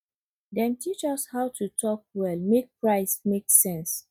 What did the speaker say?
dem teach us how to talk well make price make sense